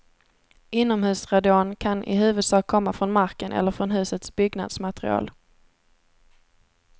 Inomhusradon kan i huvudsak komma från marken eller från husets byggnadsmaterial.